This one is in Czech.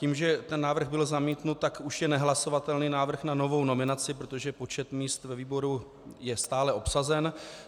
Tím že ten návrh byl zamítnut, tak už je nehlasovatelný návrh na novou nominaci, protože počet míst ve výboru je stále obsazen.